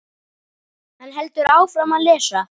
Hann heldur áfram að lesa: